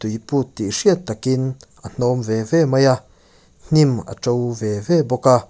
iput tih hriat takin a hnawng ve ve mai a hnim a to ve ve bawk a.